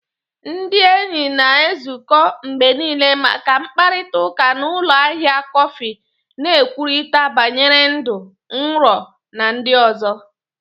Ndị enyi na-ezukọ mgbe niile maka mkparịta ụka na ụlọ ahịa kọfị, na-ekwurịta banyere ndụ, nrọ, na ndị ọzọ.